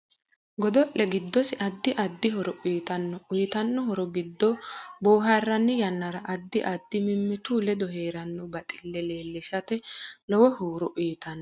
Godo'le giddose addi addi horo uyiitanno uyiitanno horo giddo booharani yannara addi addi mimittu ledo heeranno baxille leelishate lowo horo uyiitano